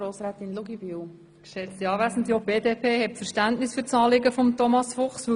Auch die BDP hat Verständnis für das Anliegen von Thomas Fuchs.